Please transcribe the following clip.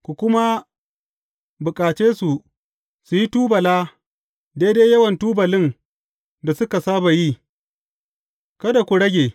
Ku kuma bukace su su yi tubula daidai yawan tubalin da suka saba yi, kada ku rage.